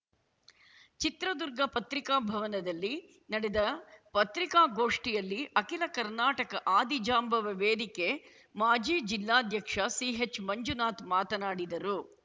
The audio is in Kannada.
ಚಿತ್ರದುರ್ಗ ಪತ್ರಿಕಾಭವನದಲ್ಲಿ ನಡೆದ ಪತ್ರಿಕಾಗೋಷ್ಠಿಯಲ್ಲಿ ಅಖಿಲ ಕರ್ನಾಟಕ ಆದಿಜಾಂಬವ ವೇದಿಕೆ ಮಾಜಿ ಜಿಲ್ಲಾಧ್ಯಕ್ಷ ಸಿಎಚ್‌ಮಂಜುನಾಥ್‌ ಮಾತನಾಡಿದರು